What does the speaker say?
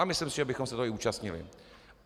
A myslím si, že bychom se toho i účastnili.